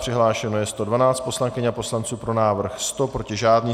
Přihlášeno je 112 poslankyň a poslanců, pro návrh 100, proti žádný.